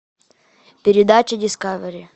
передача дискавери